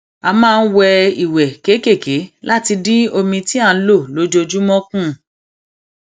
a máa n wẹ ìwẹ kékèké láti dín omi tí à n lò lójoojúmọ kù